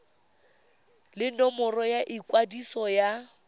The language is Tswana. le nomoro ya ikwadiso ya